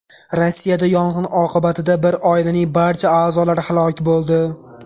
Rossiyada yong‘in oqibatida bir oilaning barcha a’zolari halok bo‘ldi.